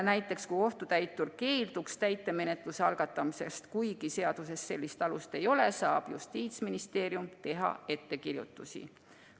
Näiteks, kui kohtutäitur keelduks täitemenetluse algatamisest, kuigi seaduses sellist alust ei ole, saab Justiitsministeerium teha ettekirjutusi.